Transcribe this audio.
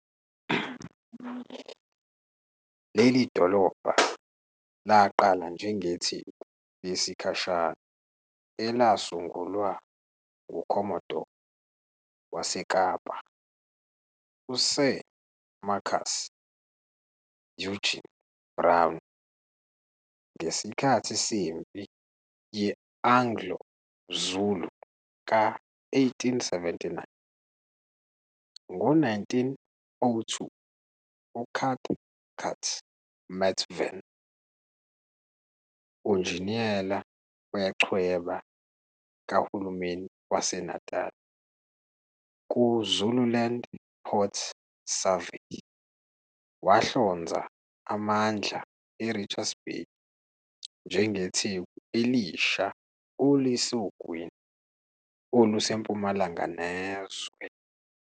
Leli dolobha laqala njengetheku lesikhashana elasungulwa nguCommodore waseKapa, USir Markus Eugene Brown, ngesikhathi seMpi ye-Anglo-Zulu ka-1879. Ngo-1902, uCathcart Methven, unjiniyela wechweba kaHulumeni waseNatal, ku-Zululand Port Survey wahlonza amandla e-Richards Bay njengetheku elisha olisogwini olusempumalanga nezwe.